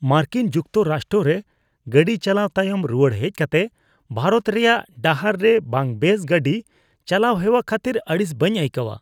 ᱢᱟᱨᱠᱤᱱ ᱡᱩᱠᱛᱚᱼᱨᱟᱥᱴᱨᱚ ᱨᱮ ᱜᱟᱹᱰᱤ ᱪᱟᱞᱟᱣ ᱛᱟᱭᱚᱢ, ᱨᱩᱣᱟᱹᱲ ᱦᱮᱡ ᱠᱟᱛᱮ ᱵᱷᱟᱨᱚᱛ ᱨᱮᱭᱟᱜ ᱰᱟᱦᱟᱨ ᱨᱮ ᱵᱟᱝᱵᱮᱥ ᱜᱟᱹᱰᱤ ᱪᱟᱞᱟᱣ ᱦᱮᱣᱟ ᱠᱷᱟᱹᱛᱤᱨ ᱟᱹᱲᱤᱥ ᱵᱟᱹᱧ ᱟᱹᱭᱠᱟᱹᱣᱟ ᱾